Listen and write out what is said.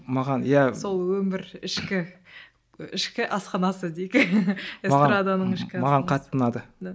маған иә сол өмір ішкі ішкі асханасы дейік эстраданың ішкі асханасы маған қатты ұнады да